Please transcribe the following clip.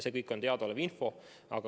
See kõik on teadaolev info.